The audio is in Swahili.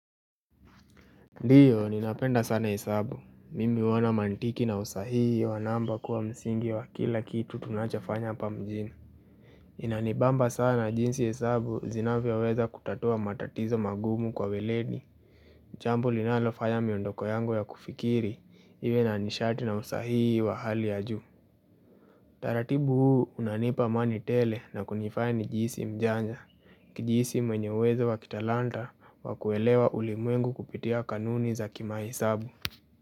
Ndiyo ninapenda sana hesabu, mimi huona mantiki na usahihi wa namba kuwa msingi wa kila kitu tunachofanya hapa mjini Inanibamba sana jinsi hesabu zinavyoweza kutatua matatizo magumu kwa uweledi jambo linalofanya miondoko yangu ya kufikiri iwe na nishati na usahihi wa hali ya juu utaratibu huu unanipa amani tele na kunifaya nijihisi mjanja kujihisi mwenye uwezo wa kitalanta wa kuelewa ulimwengu kupitia kanuni za kimahesabu.